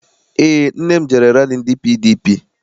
Eé, nne m jere rali ndị PDP.